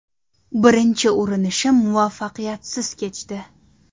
Birinchi urinishim muvaffaqiyatsiz kechdi.